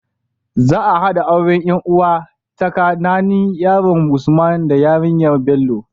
Za a haɗa auren yan uwa tsaka nanin yaron usman da yarinyar Bello